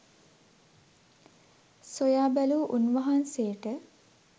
සොයා බැලූ උන්වහන්සේට